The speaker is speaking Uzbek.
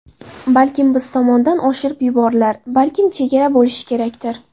Balkim biz tomondan oshirib yuborilar, balkim chegara bo‘lishi kerakdir.